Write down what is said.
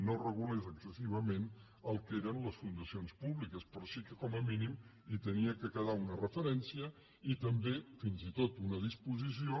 no regulés excessivament el que eren les fundacions públiques però sí que com a mí·nim hi havia de quedar una referència i també fins i tot una disposició